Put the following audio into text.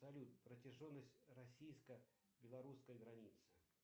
салют протяженность российско белорусской границы